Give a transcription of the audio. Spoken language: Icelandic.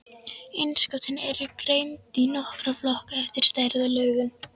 Innskotin eru greind í nokkra flokka eftir stærð og lögun.